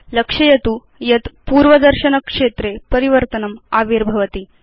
लक्षयतु यत् पूर्वदर्शनक्षेत्रे परिवर्तनम् आविर्भवति